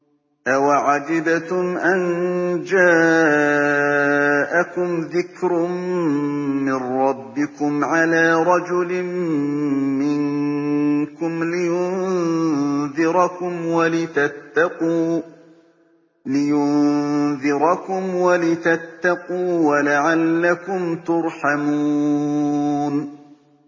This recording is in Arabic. أَوَعَجِبْتُمْ أَن جَاءَكُمْ ذِكْرٌ مِّن رَّبِّكُمْ عَلَىٰ رَجُلٍ مِّنكُمْ لِيُنذِرَكُمْ وَلِتَتَّقُوا وَلَعَلَّكُمْ تُرْحَمُونَ